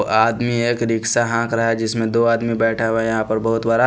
ओ आदमी एक रिक्शा हांक रहा है जिसमें दो आदमी बैठा हुआ है यहाँ पर बहुत बरा --